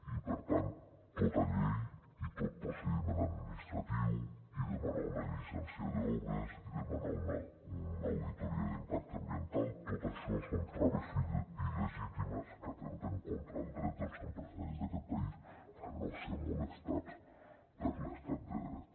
i per tant tota llei i tot procediment administratiu i demanar una llicència d’obres i demanar una auditoria d’impacte ambiental tot això són traves il·legítimes que atempten contra el dret dels empresaris d’aquest país a no ser molestats per l’estat de dret